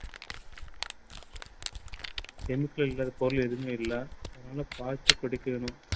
chemical இல்லாத பொருள் எதுவுமே இல்லை. அதனால பார்த்து குடிக்கணும்.